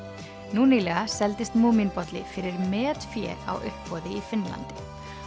nú nýlega seldist fyrir metfé á uppboði í Finnlandi